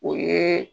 O ye